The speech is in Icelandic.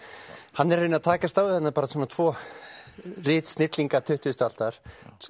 hann er í rauninni að takast á við tvo tuttugustu aldar